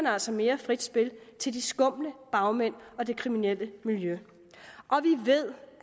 altså mere frit spil til de skumle bagmænd og det kriminelle miljø vi ved